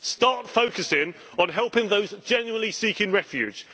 Start focusing on helping those genuinely seeking refuge.